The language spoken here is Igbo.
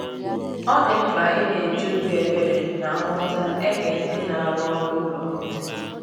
Ọ dị mkpa ịna eji obi ebere na nghọta ege ndị na-arụ ọrụ ụlọ ntị